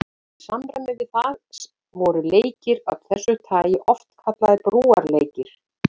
Í samræmi við það voru leikir af þessu tagi oft kallaðir brúarleikir.